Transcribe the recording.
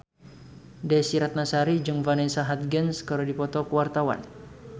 Desy Ratnasari jeung Vanessa Hudgens keur dipoto ku wartawan